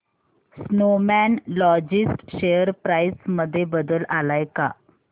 Snowman Logistics share price मध्ये बदल आलाय का